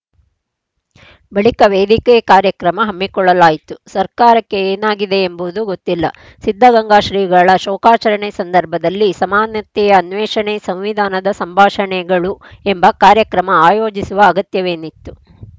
ಬಳಿಕ ವೇದಿಕೆ ಕಾರ್ಯಕ್ರಮ ಹಮ್ಮಿಕೊಳ್ಳಲಾಯಿತು ಸರ್ಕಾರಕ್ಕೆ ಏನಾಗಿದೆ ಎಂಬುದು ಗೊತ್ತಿಲ್ಲ ಸಿದ್ಧಗಂಗಾ ಶ್ರೀಗಳ ಶೋಕಾಚರಣೆ ಸಂದರ್ಭದಲ್ಲಿ ಸಮಾನತೆಯ ಅನ್ವೇಷಣೆ ಸಂವಿಧಾನದ ಸಂಭಾಷಣೆಗಳು ಎಂಬ ಕಾರ್ಯಕ್ರಮ ಆಯೋಜಿಸುವ ಅಗತ್ಯವೇನಿತ್ತು